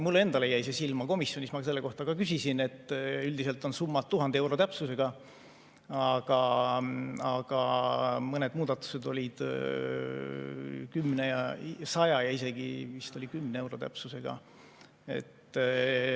Mulle endale jäi see silma, komisjonis ma selle kohta ka küsisin, et üldiselt on summad 1000 euro täpsusega, aga mõned muudatused olid 100 ja isegi vist oli 10 euro täpsusega.